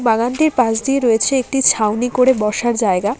বাগানটির পাশ দিয়ে রয়েছে একটি ছাউনি করে বসার জায়গা।